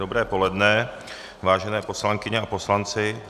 Dobré poledne, vážené poslankyně a poslanci.